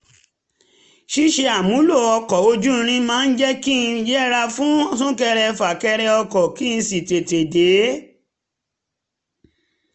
ṣíṣe àmúlò ọkọ̀ ojú irin máa ń jẹ́ kí n yẹra fún súnkẹrẹfàkẹrẹ ọkọ̀ kí n sì tètè dé